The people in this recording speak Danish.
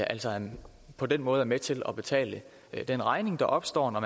altså på den måde er med til at betale den regning der opstår når